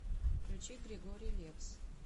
включи григорий лепс